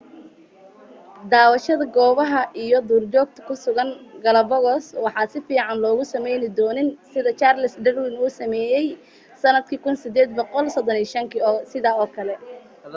daawashada goobaha iyo duurjoogta ku sugan galapagos waxaa sifiican loogu sameeyaa dooni sida charles darwin uu sameeyay sanadkii 1835 kii oo kale